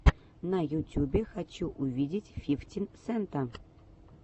на ютюбе хочу увидеть фифтин сента